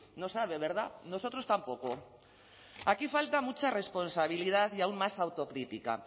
no sabe verdad nosotros tampoco aquí falta mucha responsabilidad y aún más autocrítica